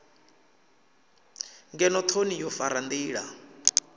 ngeno thoni wo fara ndila